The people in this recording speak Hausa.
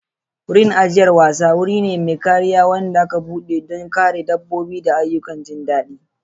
Wurin ajiyar wasa wuri ne mai kariya wanda aka keɓe don kare dabbobi da ayyukan jin daɗi.